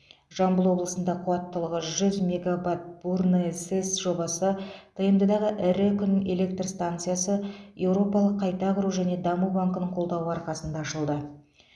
жамбыл облысында қуаттылығы жүз мегабат бурное сэс жобасы тмд дағы ірі күн электр станциясы еуропалық қайта құру және даму банкінің қолдауы арқасында ашылды